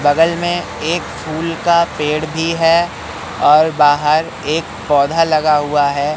बगल में एक फूल का पेड़ भी है और बाहर एक पौधा लगा हुआ है।